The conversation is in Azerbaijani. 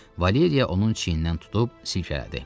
Valeriya onun çiynindən tutub silkələdi.